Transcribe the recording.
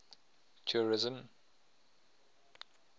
tourism